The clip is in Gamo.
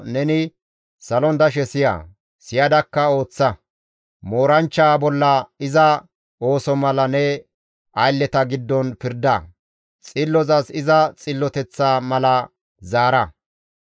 neni salon dashe siya; siyadakka ooththa. Mooranchchaa bolla iza ooso mala ne aylleta giddon pirda; xillozas iza xilloteththa mala zaara.